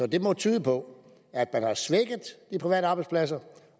det må tyde på at man har svækket de private arbejdspladser